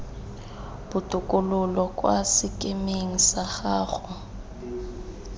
botokololo kwa sekemeng sa gago